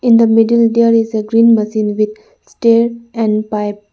In the middle there is a green machine with stair and pipe.